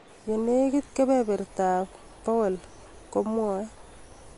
"Eng' negit kebeberta ab 100%," komwae